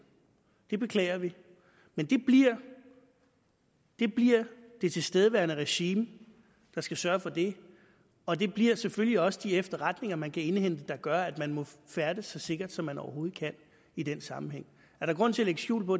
det beklager vi men det bliver det bliver det tilstedeværende regime der skal sørge for det og det bliver selvfølgelig også de efterretninger man kan indhente der gør at man må færdes så sikkert som man overhovedet kan i den sammenhæng er der grund til at lægge skjul på